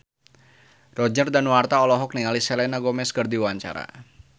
Roger Danuarta olohok ningali Selena Gomez keur diwawancara